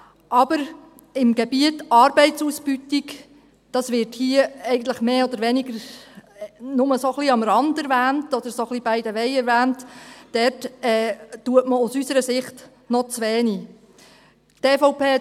Aber im Gebiet Arbeitsausbeutung – dies wird hier eigentlich mehr oder weniger nur am Rande, oder so ein bisschen by the way, erwähnt – wird aus unserer Sicht noch zu wenig getan.